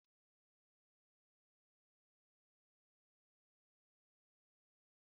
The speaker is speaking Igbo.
Akụkọ egwu na-akọ akụkọ site na egwu dị na omenala dị iche iche.